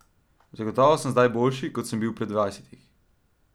Zagotovo sem zdaj boljši, kot sem bil pri dvajsetih.